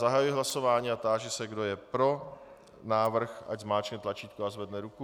Zahajuji hlasování a táži se, kdo je pro návrh, ať zmáčkne tlačítko a zvedne ruku.